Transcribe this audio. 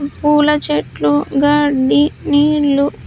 పూల చెట్లు గడ్డి నీళ్లు.